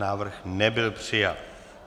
Návrh nebyl přijat.